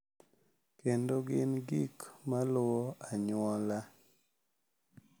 Kendo gin gik ma luwo anyuola.